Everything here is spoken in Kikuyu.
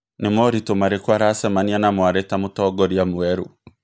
Nĩ moritũ marĩkũ aracemania namo arĩ ta mũtongoria mwerũ?